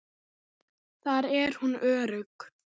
Þar er hún örugg.